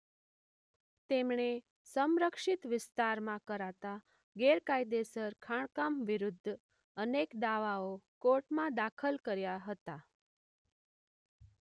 તેમણે સંરક્ષિત વિસ્તારમાં કરાતા ગેરકાયદેસર ખાણકામ વિરુદ્ધ અનેક દાવાઓ કોર્ટમાં દાખલ કર્યા હતા.